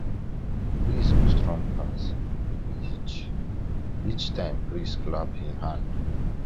breeze go strong pass each pass each time priest clap him hand